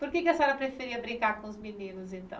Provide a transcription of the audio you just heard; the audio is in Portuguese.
Por que a senhora preferia brincar com os meninos, então?